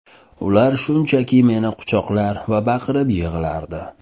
Ular shunchaki meni quchoqlar va baqirib yig‘lardi.